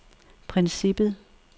princippet